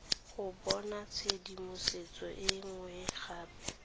go bonatshedimosetso e nngwe gape